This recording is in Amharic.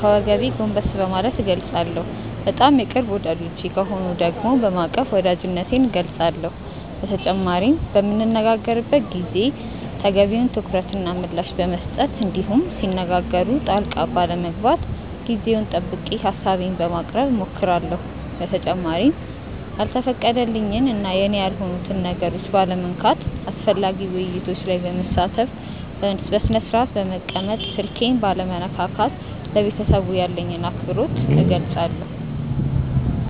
ከወገቤ ጎንበስ በማለት እገልፃለሁ። በጣም የቅርብ ወዳጆቼ ከሆኑ ደግሞ በማቀፍ ወዳጅነቴን እገልፃለሁ። በተጨማሪም በምንነጋገርበት ጊዜ ተገቢውን ትኩረት እና ምላሽ በመስጠት እንዲሁም ሲነጋገሩ ጣልቃ ባለመግባት ጊዜውን ጠብቄ ሀሳቤን በማቅረብ እሞክራለሁ። በተጨማሪም ያልተፈቀደልኝን እና የኔ ያልሆኑትን ነገሮች ባለመንካት፣ አስፈላጊ ውይይቶች ላይ በመሳተፍ፣ በስነስርአት በመቀመጥ፣ ስልኬን ባለመነካካት ለቤተሰቡ ያለኝን አክብሮት እገልፃለሁ።